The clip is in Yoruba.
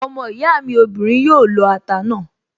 Ọmọ ìyá mi obìnrin yóò lọ ata náà